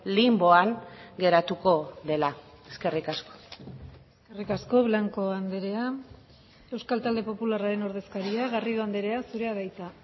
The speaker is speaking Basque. linboan geratuko dela eskerrik asko eskerrik asko blanco andrea euskal talde popularraren ordezkaria garrido andrea zurea da hitza